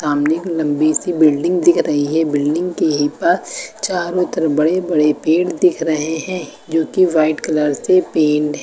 सामने एक लंबी सी बिल्डिंग दिख रही है बिल्डिंग के ही पास चारों तरफ बड़े बड़े पेड़ दिख रहे हैं जो की व्हाइट कलर से पेंट हैं।